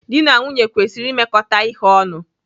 Dị na nwunye kwesịrị imekọta ihe ọnụ.